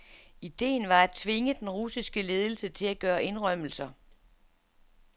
Ideen var at tvinge den russiske ledelse til at gøre indrømmelser.